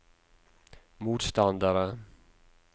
motstandere